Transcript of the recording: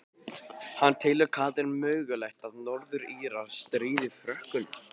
En telur Katrín mögulegt að Norður Írar stríði Frökkum?